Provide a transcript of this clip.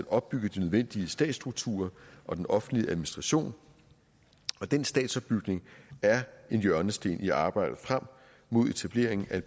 opbygge de nødvendige statsstrukturer og den offentlige administration og den statsopbygning er en hjørnesten i arbejdet frem mod etableringen af